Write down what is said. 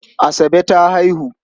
Asabe ta haihu.